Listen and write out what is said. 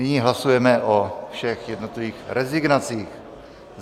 Nyní hlasujeme o všech jednotlivých rezignacích.